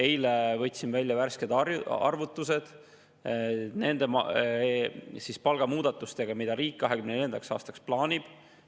Eile võtsin välja värsked arvutused nende palgamuudatuste alusel, mida riik 2024. aastaks plaanib.